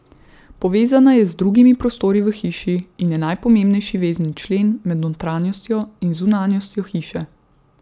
Povezana je z drugimi prostori v hiši in je najpomembnejši vezni člen med notranjostjo in zunanjostjo hiše.